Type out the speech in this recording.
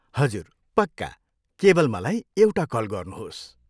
हजुर, पक्का! केवल मलाई एउटा कल गर्नुहोस्।